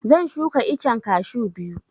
Zan shuka iccen kashu biyu